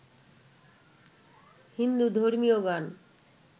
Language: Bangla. হিন্দু ধর্মীয় গান